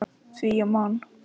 Því ég man!